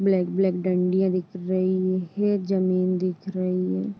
Black black डंडिया दिख रही है। ज़मीन दिख रही है।